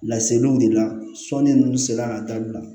Laseliw de la sɔni nunnu sera ka dabila